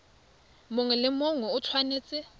mongwe le mongwe o tshwanetse